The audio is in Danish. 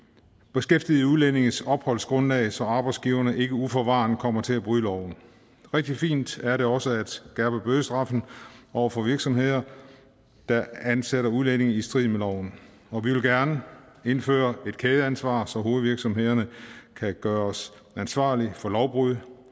beskæftigede udlændinges opholdsgrundlag så arbejdsgiverne ikke uforvarende kommer til at bryde loven rigtig fint er det også at skærpe bødestraffen over for virksomheder der ansætter udlændinge i strid med loven og vi vil gerne indføre et kædeansvar så hovedvirksomhederne kan gøres ansvarlige for lovbrud